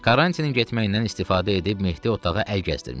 Karantinin getməyindən istifadə edib Mehdi otağa əl gəzdirmişdi.